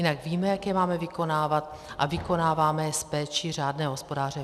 Jinak víme, jak je máme vykonávat, a vykonáváme je s péčí řádného hospodáře.